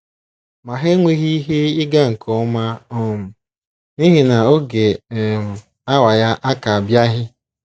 Ma, ha enweghị ihe ịga nke ọma um n’ihi na ‘ oge um awa ya aka - abịaghị. ’